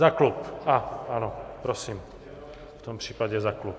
Za klub, ano, prosím, v tom případě za klub.